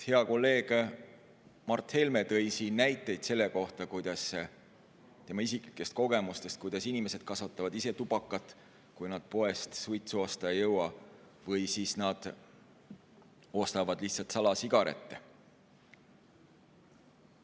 Hea kolleeg Mart Helme tõi siin näiteid oma isiklikest kogemustest, kuidas inimesed kasvatavad ise tubakat, kui nad poest suitsu osta ei jõua, või siis ostavad lihtsalt salasigarette.